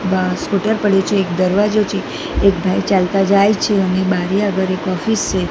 બાર scooter પડ્યું છે એક દરવાજો છે એક ભાઈ ચાલતા જાય છે અને બારી આગળ એક ઑફિસ છે.